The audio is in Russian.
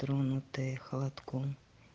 тронутые холодком